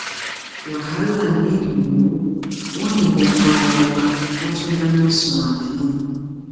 wàhálà nílùú wọn yìnbọn pa ọmọọba wọn tún dáná sun ààfin